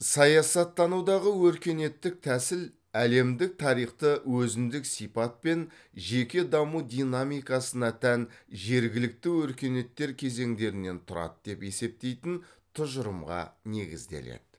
саясаттанудағы өркениеттік тәсіл әлемдік тарихты өзіндік сипат пен жеке даму динамикасына тән жергілікті өркениеттер кезеңдерінен тұрады деп есептейтін тұжырымға негізделеді